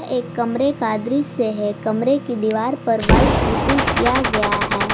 एक कमरे का दृश्य है कमरे की दीवार पर व्हाइट पुट्टी किया गया है।